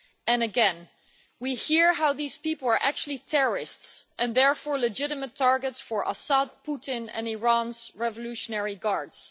And again we hear how these people were actually terrorists and therefore legitimate targets for Assad, Putin and Iran's Revolutionary Guards.